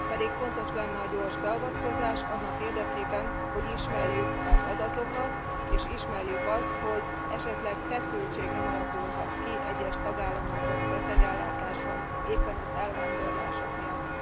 Pedig fontos lenne a gyors beavatkozás annak érdekében, hogy ismerjük az adatokat és ismerjük azt, hogy esetleg nem alakulhat e ki feszültség egyes tagállamokban a betegellátásban, éppen az elvándorlások miatt.